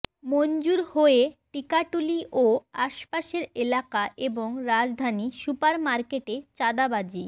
মনজুর হয়ে টিকাটুলী ও আশপাশের এলাকা এবং রাজধানী সুপার মার্কেটে চাঁদাবাজি